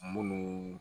Munnu